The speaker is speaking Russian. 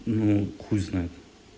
ну хуй знает